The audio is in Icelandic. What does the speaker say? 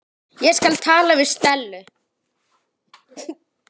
Ég skal tala við Stellu.